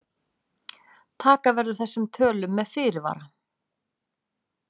Taka verður þessum tölum með fyrirvara.